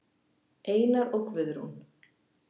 Einar og Guðrún.